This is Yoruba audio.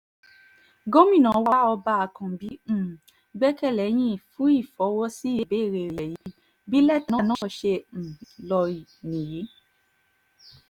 gomina wa ọba àkànbí um gbẹ́kẹ̀ lé yín fún ìfọwọ́-sí ìbéèrè rẹ̀ yìí bí lẹ́tà náà ṣe um ló níyì